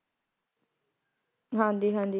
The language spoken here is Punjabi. ਹਾਂਜੀ ਹਾਂਜੀ